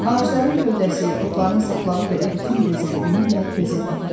Ağacların gövdəsi, otların saplağı belə bütün gözəlliyi ilə gözə dəyirdi.